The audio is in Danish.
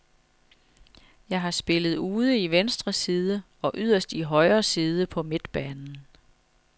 Jeg har spillet ude i venstre side og yderst i højre side på midtbanen.